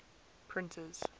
printers